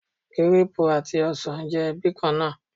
Gírápù àti ọsàn jẹ́ ẹbí kan náà.